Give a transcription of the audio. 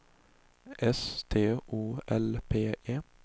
S T O L P E